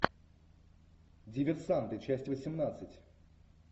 диверсанты часть восемнадцать